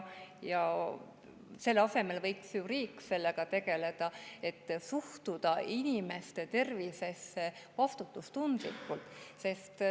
Hoopis riik võiks ju sellega tegeleda, ta võiks suhtuda inimeste tervisesse vastutustundlikult.